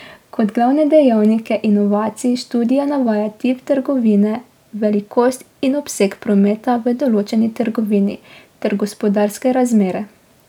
Kot glavne dejavnike inovacij študija navaja tip trgovine, velikost in obseg prometa v določeni trgovini ter gospodarske razmere.